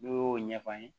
N'o y'o ɲɛfɔ an ye